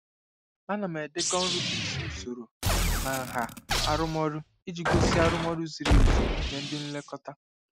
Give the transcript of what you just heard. Ana m edekọ nrube isi usoro na nha arụmọrụ iji gosi arụmọrụ ziri ezi nye ndị nlekọta.